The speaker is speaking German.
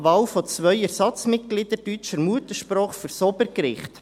Wahl von zwei Ersatzmitgliedern deutscher Muttersprache für das Obergericht.